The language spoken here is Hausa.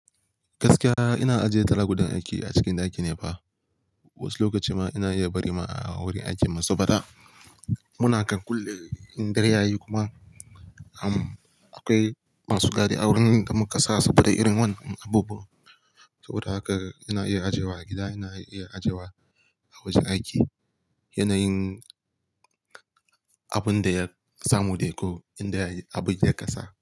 Gaskiya ina ajiye talakudan aiki a cikin ɗaki ne fa. Wasu lokaci ma ina iya bari ma a wurin aiki ma su faɗa. Muna kan kulle in dare yayi kuma akwai masu gadi a wurin da muka sa saboda irin wannan abubuwan. Ko da haka ina iya ajiye wa gida, ina iya ajiye wa a wajen aiki. Yanayin abun da ya samu dai ko in dai abu ya kasa.